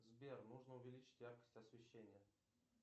сбер нужно увеличить яркость освещения